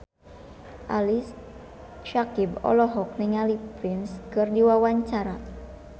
Ali Syakieb olohok ningali Prince keur diwawancara